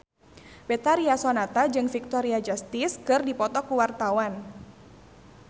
Betharia Sonata jeung Victoria Justice keur dipoto ku wartawan